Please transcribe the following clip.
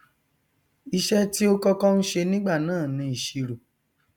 iṣẹ tí ó kọkọ n ṣe nígbà náà ni ìsirò